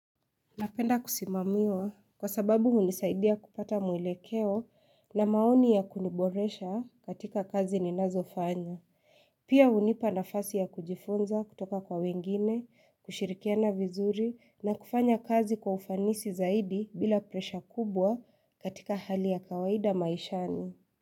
Napenda kusimamiwa kwa sababu unisaidia kupata mwilekeo na maoni ya kuniboresha katika kazi ninazofanya, pia unipa nafasi ya kujifunza kutoka kwa wengine, kushirikiana vizuri na kufanya kazi kwa ufanisi zaidi bila presha kubwa katika hali ya kawaida maishani.